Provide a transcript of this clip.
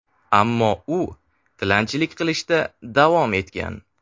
Ammo u tilanchilik qilishda davom etgan.